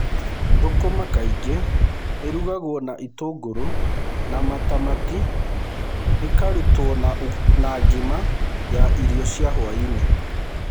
Sukuma wiki kaingĩ ĩrugagio na itũngũrũ na matamati, ĩkarutwo na ugali ya irio cia hwaĩ-inĩ.